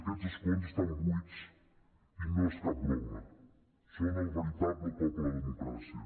aquests escons estan buits i no és cap broma són el veritable cop a la democràcia